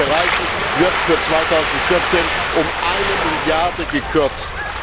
In diesen Bereichen wird für 2014 um eine Milliarde gekürzt!